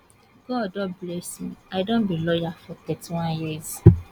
god don bless me i don be lawyer for 31 years